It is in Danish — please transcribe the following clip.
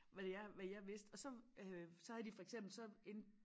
Hvad jeg hvad jeg vidste og så øh så havde de for eksempel så en